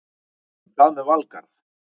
En hvað með Valgarð?